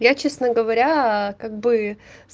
я честно говоря как бы